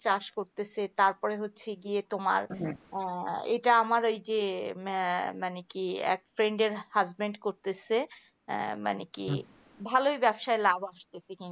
চাষ করতেছে তার পরে হয়ে হচ্ছে গিয়ে তোমার আহ এটা আমার এই যে আহ মানে মানে কি একটা friend র husband করতাছে মানে কি ভালই ভাল লাভ আসতেছে